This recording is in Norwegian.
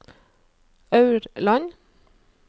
Aurland